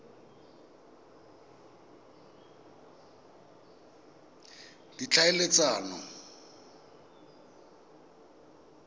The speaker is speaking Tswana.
ditlhaeletsano